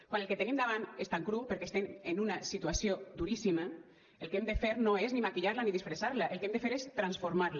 quan el que tenim davant és tan cru perquè estem en una situació duríssima el que hem de fer no és ni maquillar la ni disfressar la el que hem de fer és transformar la